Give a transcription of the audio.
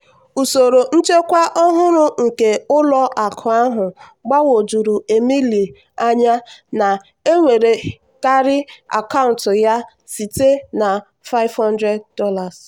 usoro nchekwa ọhụrụ nke ụlọ akụ ahụ gbagwojuru emily anya na-ewerekarị akaụntụ ya site na $500.